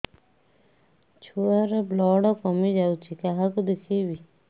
ଛୁଆ ର ବ୍ଲଡ଼ କମି ଯାଉଛି କାହାକୁ ଦେଖେଇବି